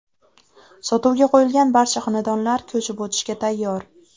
Sotuvga qo‘yilgan barcha xonadonlar ko‘chib o‘tishga tayyor.